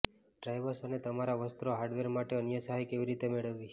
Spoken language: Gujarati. ડ્રાઇવર્સ અને તમારા વસ્ત્રો હાર્ડવેર માટે અન્ય સહાય કેવી રીતે મેળવવી